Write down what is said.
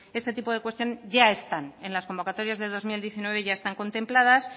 este tipo de cuestión ya están en las convocatorias de dos mil diecinueve ya están contempladas